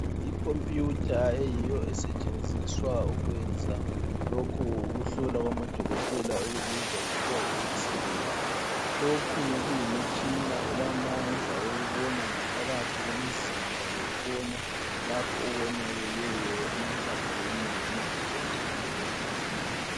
Ikhompiyutha eyiyo esetshenziswa ukwenza lokhu ukuhlolwa kwamadokotela okubizwa kuthwa yiXray lokhu kuyimitshina elamandla okubona ngaphakathi komzimba lokubona lapho okonakeleyo emathanjeni noma nje engqondweni.